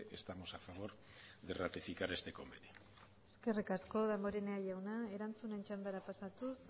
estamos a favor de ratificar este convenio eskerrik asko damborenea jauna erantzunen txandara pasatuz